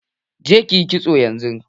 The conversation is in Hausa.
Je kiyi kitso yanzu!